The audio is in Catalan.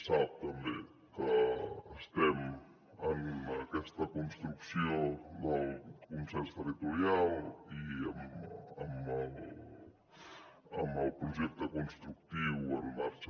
sap també que estem en aquesta construcció del consens territorial i amb el projecte constructiu en marxa